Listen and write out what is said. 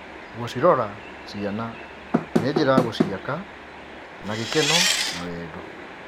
Gũcirora ciana nĩ njĩra ya gũciaka na gĩkeno na wendo.